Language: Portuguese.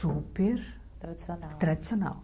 Super... Tradicional. Tradicional